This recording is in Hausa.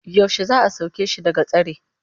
Yaushe za a sake shi daga tsare?